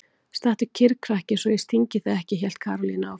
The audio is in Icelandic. Stattu kyrr krakki svo ég stingi þig ekki! hélt Karólína áfram.